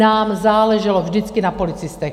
Nám záleželo vždycky na policistech.